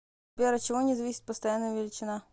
сбер от чего не зависит постоянная величина